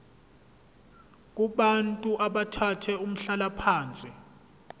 kubantu abathathe umhlalaphansi